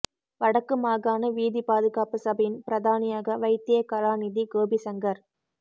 வடக்கு மாகாண வீதிப் பாதுகாப்பு சபையின் பிரதானியாக வைத்திய கலாநிதி கோபி சங்கர்